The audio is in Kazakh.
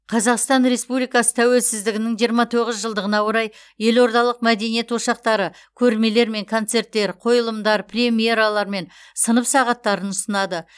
қазақстан республикасы тәуелсіздігінің жиырма тоғыз жылдығына орай елордалық мәдениет ошақтары көрмелер мен концерттер қойылымдар премьералар мен сынып сағаттарын ұсынады